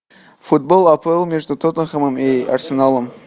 футбол апл между тоттенхэмом и арсеналом